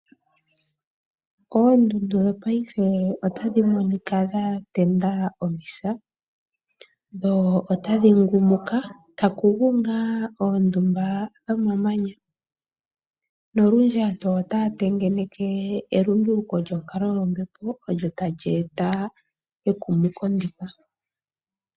Oondundu dhopaife otadhi monika dhatenda omisa dho otadhi ngumuka takugu ngaa oondumba dhomamanya nolundji aantu otaya tengeneke elunduluko lyonkalo yombepo olyo tali eta engumuko ndika.